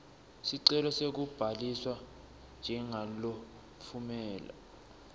sicelo sekubhaliswa njengalotfumela